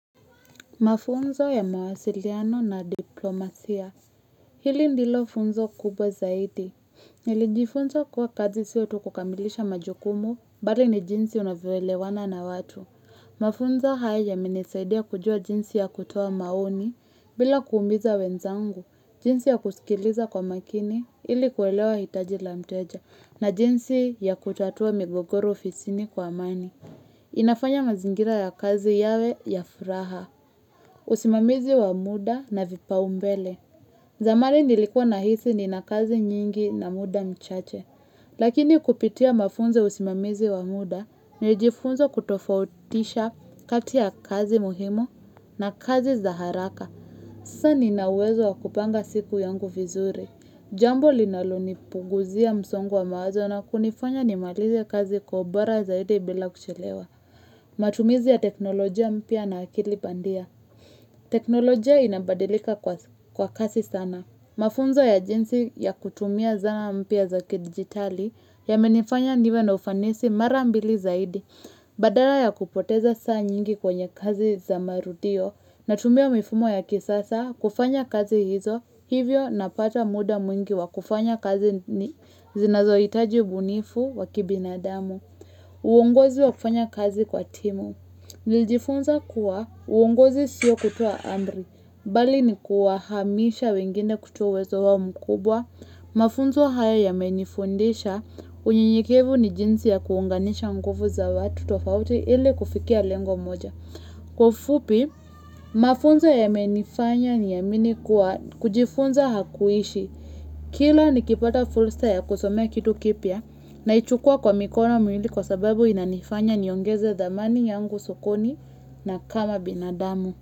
Mafunzo ya mawasiliano na diplomasia Hili ndilo funzo kubwa zaidi Nilijifunza kuwa kazi si tu kukamilisha majukumu Bali ni jinsi unavyoelewana na watu Mafunzo haya yamenisaidia kujua jinsi ya kutoa maoni bila kumiza wenzangu jinsi ya kusikiliza kwa makini ili kuelewa hitaji la mteja na jinsi ya kutatua migogoro ofisini kwa amani inafanya mazingira ya kazi yawe ya furaha usimamizi wa muda na vipa umbele zamani nilikuwa nahisi nina kazi nyingi na muda mchache Lakini kupitia mafunzo ya usimamizi wa muda Nijifunza kutofautisha kati ya kazi muhimu na kazi za haraka Sasa nina uwezo wa kupanga siku yangu vizuri Jambo linalonipunguzia msongo wa mawazo na kunifanya nimalize kazi kwa ubora zaidi bila kuchelewa matumizi ya teknolojia mpya na akili pandia teknolojia inabadilika kwa kasi sana Mafunzo ya jinsi ya kutumia zana mpya za kidigitali Yamenifanya niwe na ufanisi mara mbili zaidi Badala ya kupoteza saa nyingi kwenye kazi za marudio Natumia mifumo ya kisasa kufanya kazi hizo Hivyo napata muda mwingi wa kufanya kazi ni zinazoitaji bunifu wa kibinadamu uongozi wa kufanya kazi kwa timu Nijifunza kuwa uongozi sio kutoa amri, bali ni kuwa hamisha wengine kutuwezo wao mkubwa, mafunzo haya yamenifundisha, unyenyekevu ni jinsi ya kuunganisha nguvu za watu tofauti ili kufikia lengo moja. Kwa ufupi, mafunzo yamenifanya niamini kuwa kujifunza hakuishi. Kila nikipata fursa ya kusomea kitu kipya naichukua kwa mikono miwili kwa sababu inanifanya niongeze thamani yangu sokoni na kama binadamu.